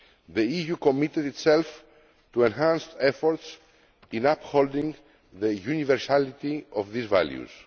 The EU committed itself to enhanced efforts to uphold the universality of these values.